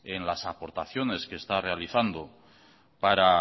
en las aportaciones que está realizando para